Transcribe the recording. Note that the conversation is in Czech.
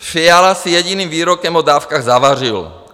Fiala si jediným výrokem o dávkách zavařil.